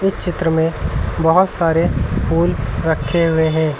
इस चित्र में बोहोत सारे फूल रखें हुए हैं।